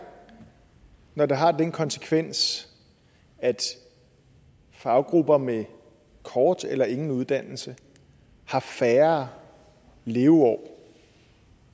når det har den konsekvens at faggrupper med kort eller ingen uddannelse har færre leveår